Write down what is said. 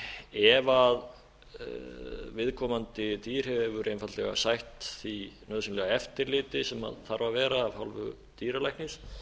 ef viðkomandi dýr hefur einfaldlega sætt því nauðsynlega eftirliti sem þarf að vera af hálfu dýralæknis